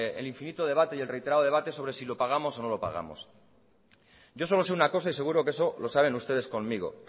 el infinito debate y el reiterado debate sobre si lo pagamos o no lo pagamos yo solo sé una cosa y seguro que eso lo saben ustedes conmigo